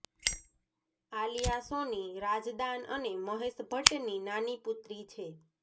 આલિયા સોની રાજદાન અને મહેશ ભટ્ટની નાની પુત્રી છે